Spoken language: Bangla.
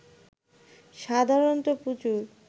সাধারণত প্রচুর